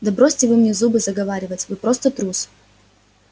да бросьте вы мне зубы заговаривать вы просто трус